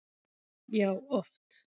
Já, oft